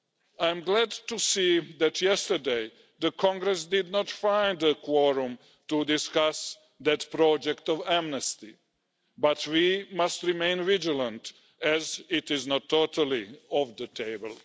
I'm glad to see that yesterday, Congress did not find a quorum to discuss that project for an amnesty, but we must remain vigilant as it is not totally off the table.